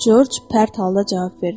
Corc pərt halda cavab verdi.